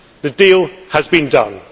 The deal has been done